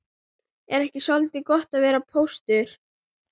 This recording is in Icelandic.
Er ekki soldið gott að vera póstur?